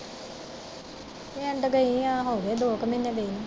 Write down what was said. ਪਿੰਡ ਗਈ ਆ ਹੋਗੇ ਦੋ ਕ ਮਹੀਨੇ ਗਈ ਨੂੰ।